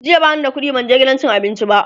jiya bani da ƙuɗi ban je gidan cin abinci ba